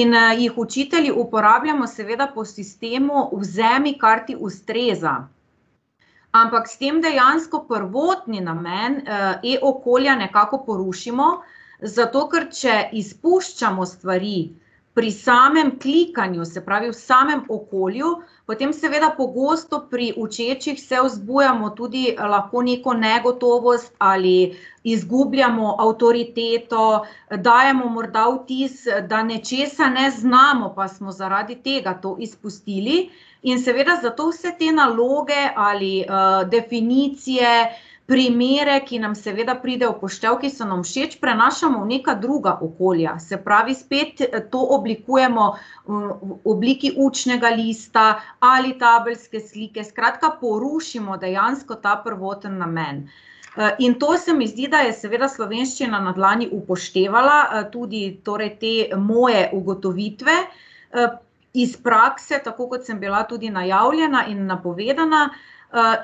In, jih učitelji uporabljamo seveda po sistemu: vzemi, kar ti ustreza. Ampak s tem dejansko prvotni namen, e-okolja nekako porušimo, zato ker če izpuščamo stvari pri samem klikanju, se pravi, v samem okolju, potem seveda pogosto pri učečih se vzbujamo tudi lahko neko negotovost ali izgubljamo avtoriteto, dajemo morda vtis, da nečesa ne znamo, pa smo zaradi tega to izpustili. In seveda zato vse te naloge ali, definicije, primere, ki nam seveda pride v poštev, ki so nam všeč, prenašamo v neka druga okolja, se pravi spet to oblikujemo v obliki učnega lista ali tabelske slike, skratka porušimo dejansko ta prvotni namen. in to se mi zdi, da je seveda Slovenščina na dlani upoštevala, tudi torej te moje ugotovitve, iz prakse, tako kot sem bila tudi najavljena in napovedana,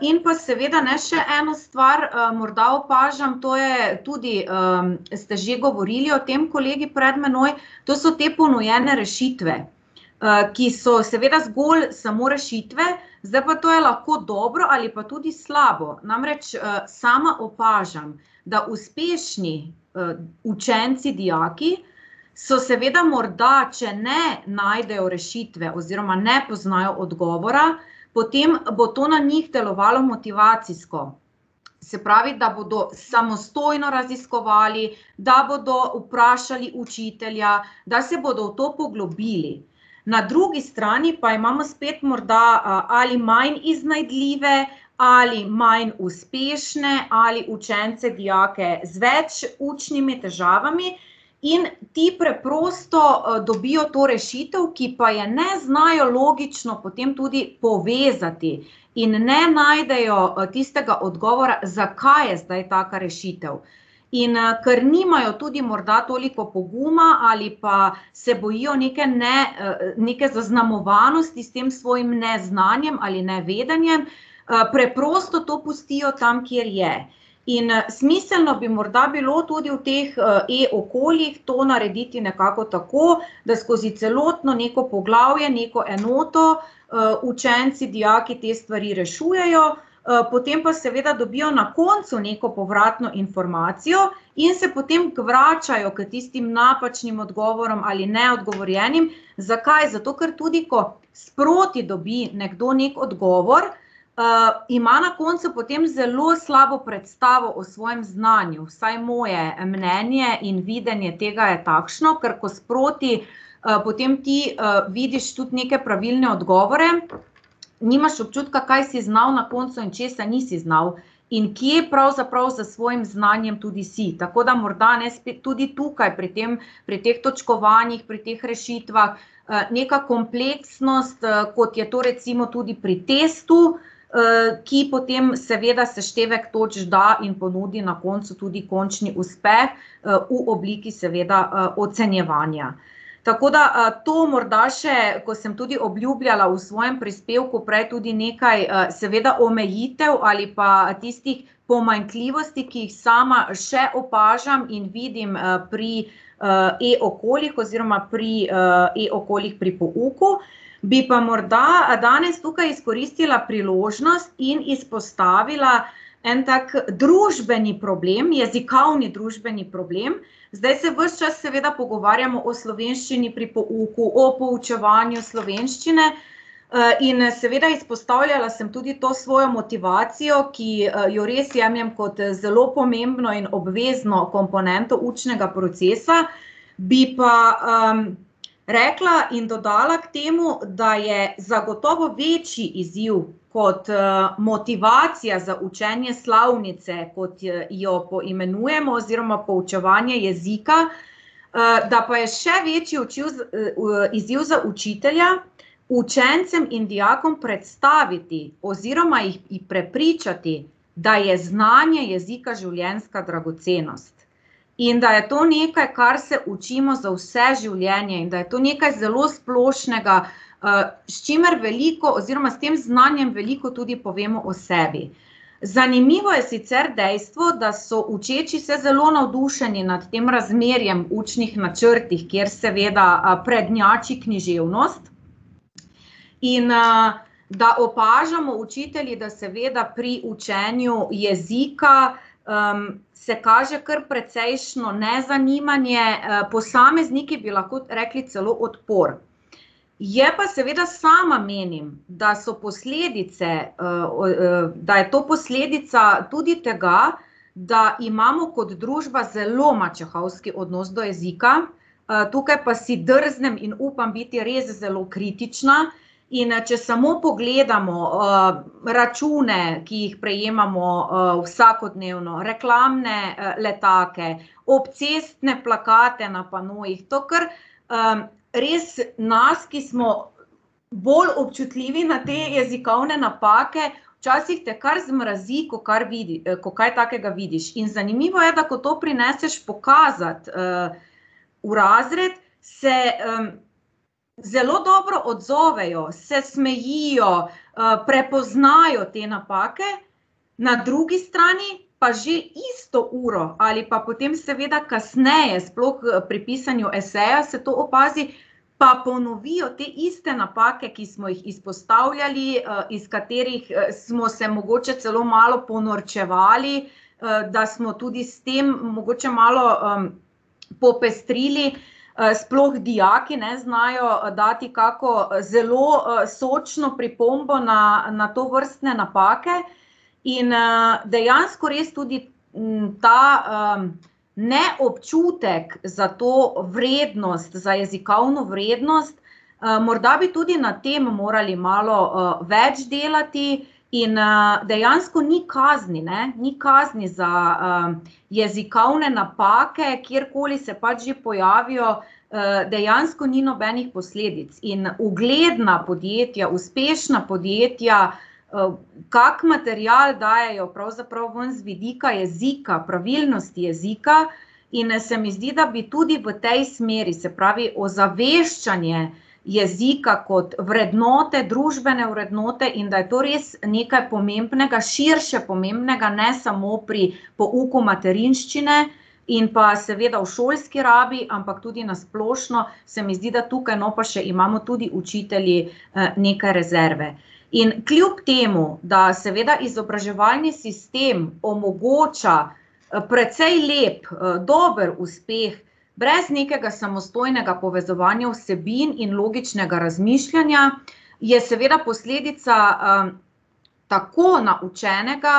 in pa seveda, ne, še eno stvar, morda opažam, to je tudi, ste že govorili o tem kolegi pred mano, to so te ponujene rešitve, ki so seveda zgolj samo rešitve, zdaj pa, to je lahko dobro ali pa tudi slabo, namreč, sama opažam, da uspešni, učenci, dijaki so seveda morda, če ne najdejo rešitve oziroma ne poznajo odgovora, potem bo to na njih delovalo motivacijsko. Se pravi, da bodo samostojno raziskovali, da bodo vprašali učitelja, da se bodo v to poglobili. Na drugi strani pa imamo spet morda, ali manj iznajdljive ali manj uspešne ali učence, dijake z več učnimi težavami in ti preprosto dobijo to rešitev, ki pa je ne znajo logično potem tudi povezati, in ne najdejo, tistega odgovora, zakaj je zdaj taka rešitev. In, ker nimajo tudi morda toliko poguma ali pa se bojijo neke, ne, neke zaznamovanosti s tem svojim neznanjem ali nevedenjem, preprosto to pustijo tam, kjer je. In, smiselno bi morda bilo tudi v teh, e-okoljih to narediti nekako tako, da skozi celotno neko poglavje neko enoto, učenci, dijaki te stvari rešujejo, potem pa seveda dobijo na koncu neko povratno informacijo in se potem vračajo k tistim napačnim odgovorom ali neodgovorjenim, zakaj, zato, ker tudi ko sproti dobi nekdo neki odgovor, ima na koncu potem zelo slabo predstavo o svojem znanju, vsaj moje mnenje in videnje tega je takšno, ker ko sproti, potem ti, vidiš tudi neke pravilne odgovore, nimaš občutka, kaj si znal na koncu in česa nisi znal in kje pravzaprav s svojim znanjem tudi si, tako da morda, ne, spet tudi tukaj pri tem, pri teh točkovanjih, pri teh rešitvah, neka kompleksnost, kot je to recimo tudi pri testu, ki potem seveda seštevek točk da in ponudi na koncu tudi končni uspeh, v obliki, seveda, ocenjevanja. Tako da, to morda še, ko sem tudi obljubljala v svojem prispevku prej, tudi nekaj, seveda omejitev ali pa tistih pomanjkljivosti, ki jih sama še opažam in vidim, pri, e-okoljih oziroma pri, e-okoljih pri pouku, bi pa morda danes tukaj izkoristila priložnost in izpostavila en tak družbeni problem, jezikovni družbeni problem. Zdaj se ves čas seveda pogovarjamo o slovenščini pri pouku, o poučevanju slovenščine, in, seveda izpostavljala sem tudi to svojo motivacijo, ki jo res jemljem kot zelo pomembno in obvezno komponento učnega procesa. Bi pa, rekla in dodala k temu, da je zagotovo večji izziv kot, motivacija za učenje slovnice, kot je, jo poimenujemo, oziroma poučevanje jezika, da pa je še večji izziv za učitelja učencem in dijakom predstaviti oziroma jih prepričati, da je znanje jezika življenjska dragocenost in da je to nekaj, kar se učimo za vse življenje in da je to nekaj zelo splošnega, s čimer veliko oziroma s tem znanjem veliko tudi povemo o sebi. Zanimivo je sicer dejstvo, da so učeči se zelo navdušeni nad tem razmerjem učnih načrtih, kjer seveda, prednjači književnost, in, da opažamo učitelji, da seveda pri učenju jezika, se kaže kar precejšnje nezanimanje, posamezniki bi lahko rekli celo odpor. Je pa seveda, sama menim, da so posledice, da je to posledica tudi tega, da imamo kot družba zelo mačehovski odnos do jezika. tukaj pa si drznem in upam biti res zelo kritična. In, če samo pogledamo, račune, ki jih prejemamo, vsakodnevno, reklamne, letake, obcestne plakate na panojih, to kar, res nas, ki smo bolj občutljivi na te jezikovne napake, včasih te kar zmrazi, ko kar ko kaj takega vidiš. In zanimivo je, da ko to prineseš pokazat, v razred, se, zelo dobro odzovejo, se smejijo, prepoznajo te napake. Na drugi strani pa že isto uro ali pa potem seveda kasneje, sploh pri pisanju eseja se to opazi, pa ponovijo te iste napake, ki smo jih izpostavljali, iz katerih, smo se mogoče celo malo ponorčevali, da smo tudi s tem mogoče malo, popestrili. sploh dijaki, ne, znajo dati kako zelo, sočno pripombo na, na tovrstne napake. In, dejansko res tudi, ta, neobčutek za to vrednost, za jezikovno vrednost, morda bi tudi na tem morali malo, več delati in, dejansko ni kazni, ne, ni kazni za, jezikovne napake, kjerkoli se pač že pojavijo, dejansko ni nobenih posledic in ugledna podjetja, uspešna podjetja, kako material dajejo pravzaprav ven z vidika jezika, pravilnosti jezika, in se mi zdi, da bi tudi v tej smeri, se pravi ozaveščanje jezika kot vrednote, družbene vrednote, in da je to res nekaj pomembnega, širše pomembnega, ne samo pri pouku materinščine in pa seveda v šolski rabi, ampak tudi na splošno se mi zdi, da tukaj, no, pa še imamo tudi učitelji, nekaj rezerve. In kljub temu, da seveda izobraževalni sistem omogoča, precej lep, dober uspeh, brez nekega samostojnega povezovanja vsebin in logičnega razmišljanja je seveda posledica, tako naučenega,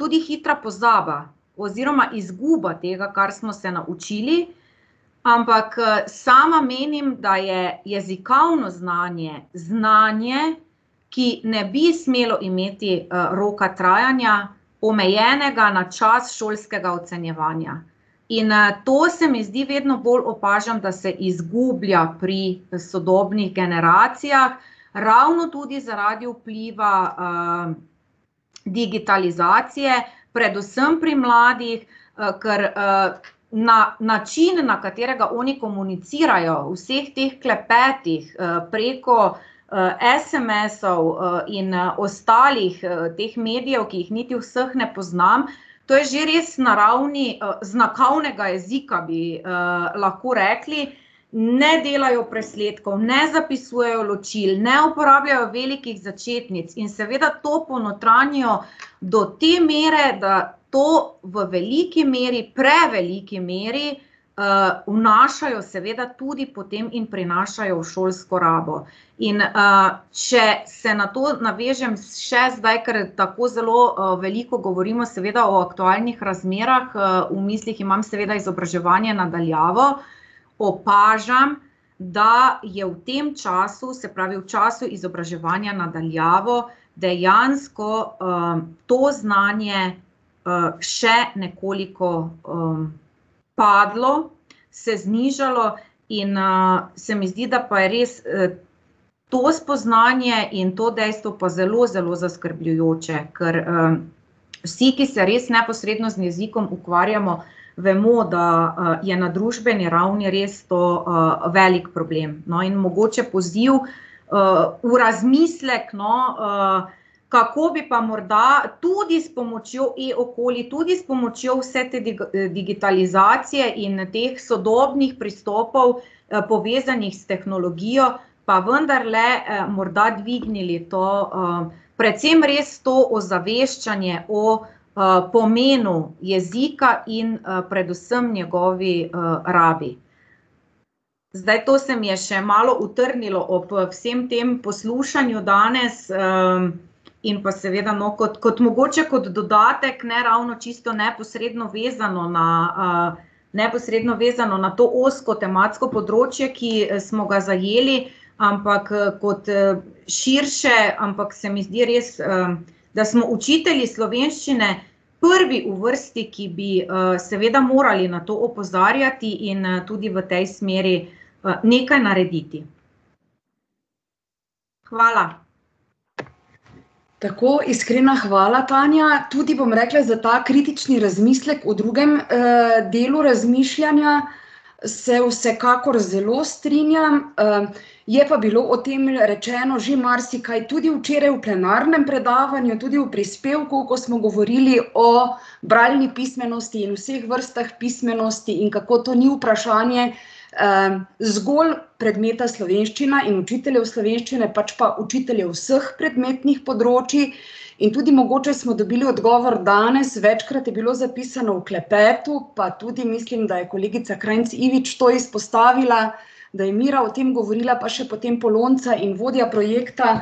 tudi hitra pozaba oziroma izguba tega, kar smo se naučili. Ampak, sama menim, da je jezikovno znanje znanje, ki ne bi smelo imeti, roka trajanja omejenega na čas šolskega ocenjevanja. In, to se mi zdi, vedno bolj opažam, da se izgublja pri sodobnih generacijah, ravno tudi zaradi vpliva, digitalizacije, predvsem pri mladih, kar, na način, na katerega oni komunicirajo, v vseh teh klepetih, preko, SMS-ov in, ostalih, teh medijev, ki jih niti vseh ne poznam, to je že res na ravni, znakovnega jezika, bi, lahko rekli. Ne delajo presledkov, ne zapisujejo ločil, ne uporabljajo velikih začetnic in seveda to ponotranjijo do te mere, da to v veliki meri, preveliki meri, vnašajo seveda tudi potem in prinašajo v šolsko rabil. In, če se na to navežem še zdaj, ker tako zelo, veliko govorimo seveda o aktualnih razmerah, v mislih imam seveda izobraževanje na daljavo, opažam, da je v tem času, se pravi v času izobraževanja na daljavo, dejansko, to znanje, še nekoliko, padlo, se znižalo, in, se mi zdi, da pa je res, to spoznanje in to dejstvo pa zelo zelo zaskrbljujoče, ker, vsi, ki se res neposredno z jezikom ukvarjamo vemo, da, je na družbeni ravni res to, velik problem, no, in mogoče poziv, v razmislek, no, kako bi pa morda tudi s pomočjo e-okolij, tudi s pomočjo vse te digitalizacije in teh sodobnih pristopov, povezanih s tehnologijo, pa vendarle, morda dvignili to, predvsem res to ozaveščanje o, pomenu jezika in, predvsem njegovi, rabi. Zdaj, to se mi je še malo utrnilo ob, vsem tem poslušanju danes, in pa seveda, no, kot, kot mogoče kot dodatek, ne ravno čisto neposredno vezano na, neposredno vezano na to ozko tematsko področje, ki smo ga zajeli, ampak, kot, širše, ampak se mi zdi res, da smo učitelji slovenščine prvi v vrsti, ki bi, seveda morali na to opozarjati in, tudi v tej smeri, nekaj narediti. Hvala. Tako, iskrena hvala, Tanja, tudi, bom rekla, za ta kritični razmislek v drugem, delu razmišljanja, se vsekakor zelo strinjam, je pa bilo o tem rečeno že marsikaj tudi včeraj v plenarnem predavanju, tudi v prispevku, ko smo govorili o bralni pismenosti in vseh vrstah pismenosti in kako to ni vprašanje, zgolj predmeta slovenščina in učiteljev slovenščine, pač pa učiteljev vseh predmetnih področjih. In tudi mogoče smo dobili odgovor danes, večkrat je bilo zapisano v klepetu, pa tudi mislim, da je kolegica Krajnc Ivič to izpostavila, da je Mira o tem govorila, pa še potem Polonca in vodja projekta.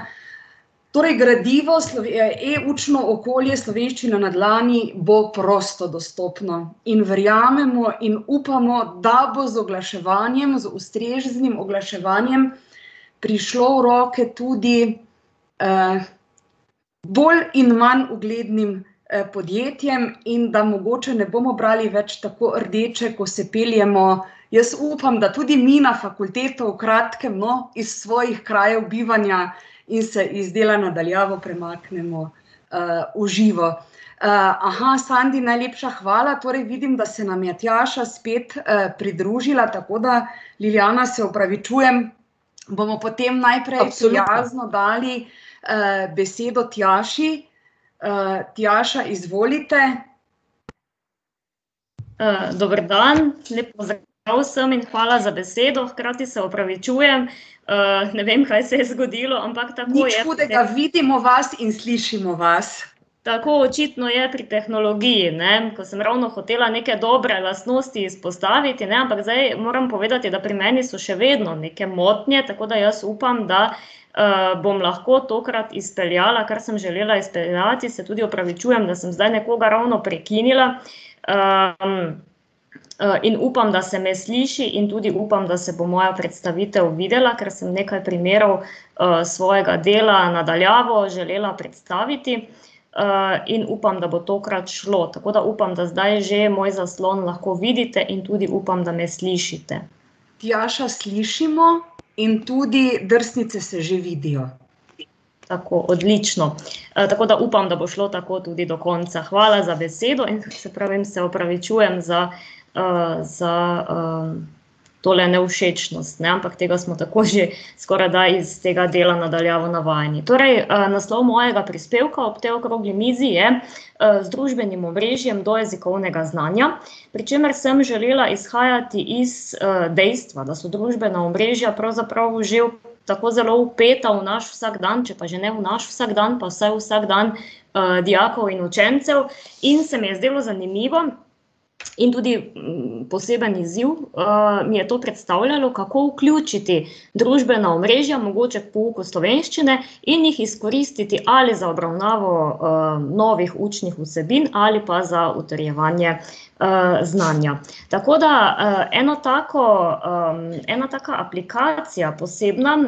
Torej gradivo e-učno okolje Slovenščina na dlani bo prosto dostopno in verjamemo in upamo, da bo z oglaševanjem, z ustreznim oglaševanjem prišlo v roke tudi, bolj in manj uglednim, podjetjem in da mogoče ne bomo brali več tako rdeče, ko se peljemo, jaz upam, da tudi mi na fakulteto v kratkem, no, iz svojih krajev bivanja, in se iz dela na daljavo premaknemo, v živo. Sandi, najlepša hvala, torej vidim, da se nam je Tjaša spet, pridružila, tako da Ljiljana, se opravičujem, bomo potem najprej prijazno dali, besedo Tjaši. Tjaša, izvolite. dober dan, lep pozdrav vsem in hvala za besedo, hkrati se opravičujem, ne vem, kaj se je zgodilo, ampak tako je ... Nič hudega, vidimo vas in slišimo vas. Tako, očitno je pri tehnologiji, ne, ko sem ravno hotela neke dobre lastnosti izpostaviti, ne, ampak zdaj moram povedati, da pri meni so še vedno neke motnje, tako da jaz upam, da, bom lahko tokrat izpeljala, kar sem želela izpeljati, se tudi opravičujem, da sem zdaj nekoga ravno prekinila. in upam, da se me sliši, in tudi upam, da se bo moja predstavitev videla, ker sem nekaj primerov, svojega dela na daljavo želela predstaviti. in upam, da bo tokrat šlo, tako da upam, da zdaj že moj zaslon lahko vidite, in tudi upam, da me slišite. Tjaša, slišimo in tudi drsnice se že vidijo. tako, odlično. tako da upam, da bo šlo tako tudi do konca, hvala za besedo in, saj pravim, se opravičujem za, za, tole nevšečnost, ne, ampak tega smo tako že skorajda iz tega dela na daljavo navajeni. Torej, naslov mojega prispevka ob tej okrogli mizi je, Z družbenim omrežjem do jezikovnega znanja, pri čemer sem želela izhajati iz, dejstva, da so družbena omrežja pravzaprav že tako zelo vpeta v naš vsakdan, če pa že ne v naš vsakdan, pa vsaj v vsakdan, dijakov in učencev. In se mi je zdelo zanimivo in tudi, poseben izziv, mi je to predstavljalo, kako vključiti družbena omrežja mogoče k pouku slovenščine in jih izkoristiti ali za obravnavo, novih učnih vsebin ali pa za utrjevanje, znanja. Tako da, eno tako, ena taka aplikacija posebna,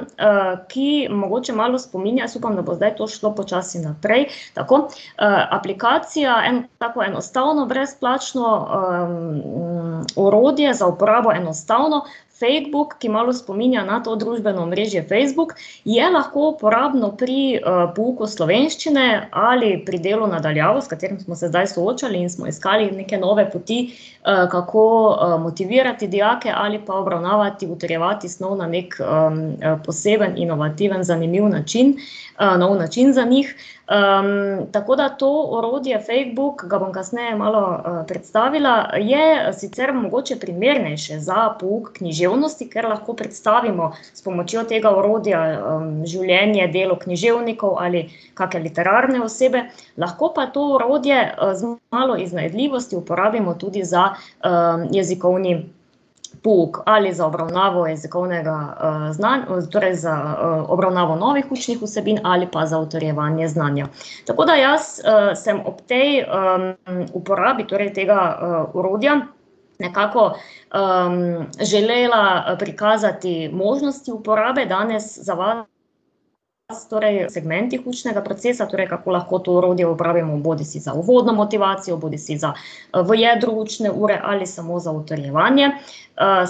ki mogoče malo spominja, jaz upam, da bo zdaj to šlo počasi naprej, tako, aplikacija tako enostavno brezplačno, orodje, za uporabo enostavno, Fadebook, ki malo spominja na to družbeno omrežje Facebook, je lahko uporabno pri, pouku slovenščine ali pri delu na daljavo, s katerim smo se zdaj soočali in smo iskali neke nove poti, kako, motivirati dijake ali pa obravnavati, utrjevati snov na neki, poseben, inovativen, zanimiv način, nov način za njih. tako da to orodje, Fadebook, ga bom kasneje, malo predstavila, je sicer mogoče primernejše za pouk književnosti, ker lahko predstavimo s pomočjo tega orodja, življenje, delo književnikov ali kake literarne osebe, lahko pa to orodje, z malo iznajdljivosti uporabimo tudi za, jezikovni pouk, ali za obravnavno jezikovnega, torej za, obravnavo novih učnih vsebin ali pa za utrjevanje znanja. Tako da jaz, sem ob tej, uporabi torej tega, orodja nekako, želela prikazati možnosti uporabe, danes za torej segmenti učnega procesa, torej kako lahko to orodje uporabimo bodisi za uvodno motivacijo bodisi za, v jedru učne ure ali samo za utrjevanje.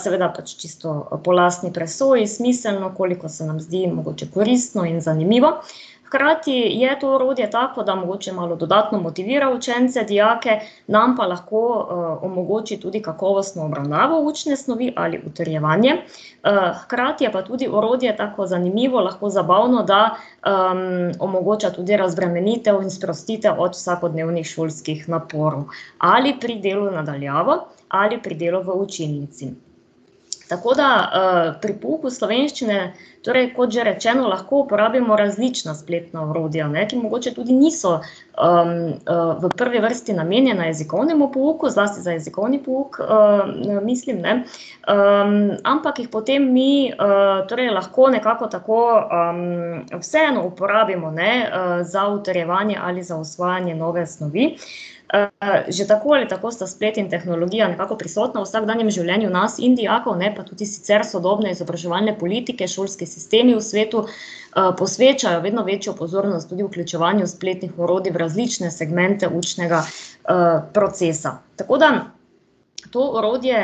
seveda pač čisto po lastni presoji, smiselno, koliko se nam zdi mogoče koristno in zanimivo. Hkrati je to orodje tako, da mogoče malo dodatno motivira učence, dijake, nam pa lahko, omogoči tudi kakovostno obravnavo učne snovi ali utrjevanje, hkrati je pa tudi orodje tako zanimivo, lahko zabavno, da, omogoča tudi razbremenitev in sprostitev od vsakodnevnih šolskih naporov ali pri delu na daljavo ali pri delu v učilnici. Tako da, pri pouku slovenščine, torej kot že rečeno, lahko uporabimo različna spletna orodja, ne, ki mogoče tudi niso, v prvi vrsti namenjena jezikovnemu pouku, zlasti za jezikovni pouk, mislim, ne, ampak jih potem mi, torej lahko nekako tako, vseeno uporabimo, ne, za utrjevanje ali za osvajanje nove snovi. že tako ali tako sta splet in tehnologija nekako prisotna v vsakdanjem življenju nas in dijakov, ne, pa tudi sicer sodobne izobraževalne politike, šolski sistemi v svetu, posvečajo vedno večjo pozornost tudi vključevanju spletnih orodij v različne segmente učnega, procesa, tako da to orodje,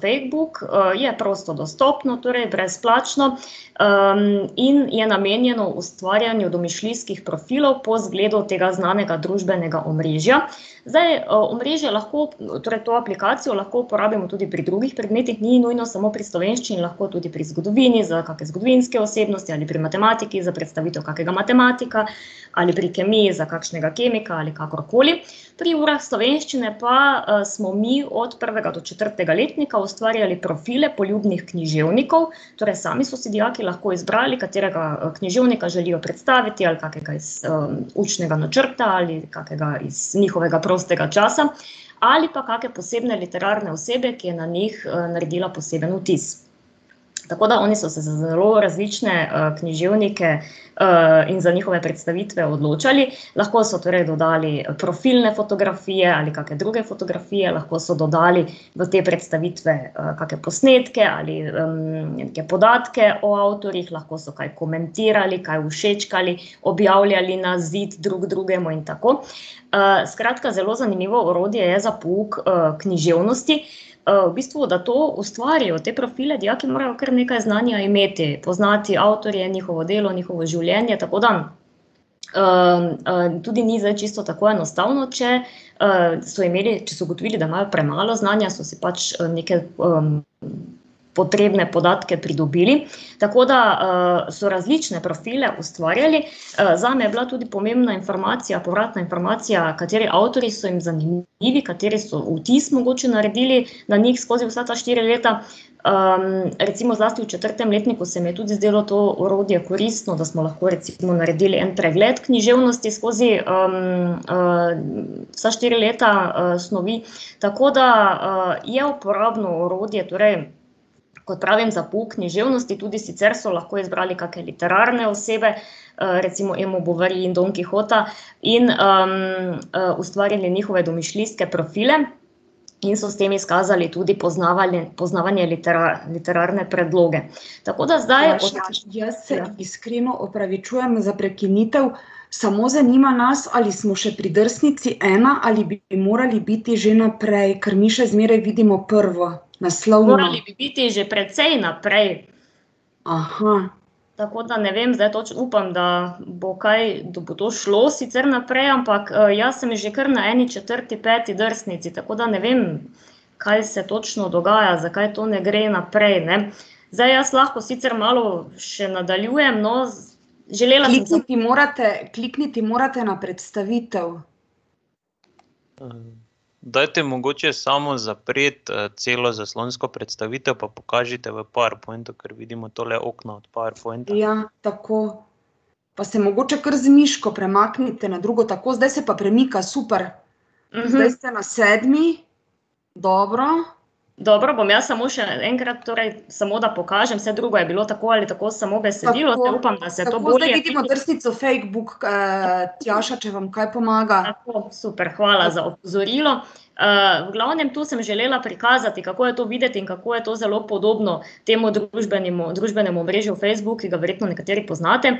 Fadebook, je prosto dostopno, torej brezplačno, in je namenjeno ustvarjanju domišljijskih profilov po zgledu tega znanega družbenega omrežja. Zdaj, omrežje lahko, torej to aplikacijo lahko uporabljamo tudi pri drugih predmetih, ni nujno samo pri slovenščini, lahko tudi pri zgodovini za kake zgodovinske osebnosti ali pri matematiki za predstavitev kakega matematika ali pri kemiji za kakšnega kemika ali kakorkoli, pri urah slovenščine pa, smo mi od prvega do četrtega letnika ustvarjali profile poljubnih književnikov, torej sami so si dijaki lahko izbrali, katerega književnika želijo predstaviti, ali kakega iz učnega načrta ali kakega iz njihovega prostega časa ali pa kake posebne literarne osebe, ki je na njih, naredila poseben vtis. Tako da oni so se za zelo različne, književnike, in za njihove predstavitve odločali, lahko so torej dodali profilne fotografije ali kake druge fotografije, lahko so dodali v te predstavitve kake posnetke, ali neke podatke o avtorjih, lahko so kaj komentirali, kaj všečkali, objavljali na zid drug drugemu in tako. skratka zelo zanimivo orodje je za pouk, književnosti, v bistvu, da to ustvarijo te profile, dijaki morajo kar nekaj znanja imeti, poznati avtorje, njihovo delo, njihovo življenje, tako da, tudi ni zdaj čisto tako enostavno, če, so imeli, če so ugotovili, da imajo premalo znanja, so si pač, neke, potrebne podatke pridobili, tako da, so različne profile ustvarjali, zame je bila tudi pomembna informacija, povratna informacija, kateri avtorji so jim zanimivi, kateri so vtis mogoče naredili na njih skozi vsa ta štiri leta. recimo zlasti v četrtem letniku se mi je tudi zdelo to orodje koristno, da smo lahko recimo naredili en pregled književnosti skozi, vsa štiri leta, snovi, tako da, je uporabno orodje, torej kot pravim, za pouk književnosti, tudi sicer so lahko izbrali kake literarne osebe, recimo Emo Bovary in Don Kihota, in, ustvarili njihove domišljijske profile in so s tem izkazali tudi poznavanje, poznavanje literarne predloge. Tako da zdaj ... Jaz se iskreno opravičujem za prekinitev, samo zanima nas, ali smo še pri drsnici ena ali bi morali biti že naprej, ker mi še zmeraj vidimo prvo, naslovno. Morali bi biti že precej naprej. Tako da ne vem, zdaj upam, da bo kaj, da bo to šlo sicer naprej, ampak jaz sem že kar na eni četrti, peti drsnici, tako da ne vem, kaj se točno dogaja, zakaj to ne gre naprej, ne. Zdaj jaz lahko sicer malo še nadaljujem, no, želela bi ... Klikniti morate, klikniti morate na predstavitev. Ja, tako. Pa se mogoče kar z miško premaknite na drugo, tako, zdaj se pa premika, super. Zdaj ste na sedmi. Dobro. Dobro, bom jaz samo še enkrat, torej, samo da pokažem, saj drugo je bilo tako ali tako samo besedilo. Upam, da se to bolje vidi. Tako, zdaj vidimo drsnico Fadebook. Tjaša, če vam kaj pomaga. Tako, super, hvala za opozorilo. v glavnem, to sem želela prikazati, kako je to videti in kako je to zelo podobno temu družbenemu, družbenemu omrežju Facebook, ki ga verjetno nekateri poznate,